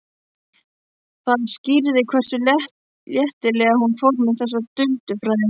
Það skýrði hversu léttilega hún fór með þessi duldu fræði.